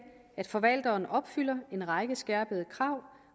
at forvalteren opfylder en række skærpede krav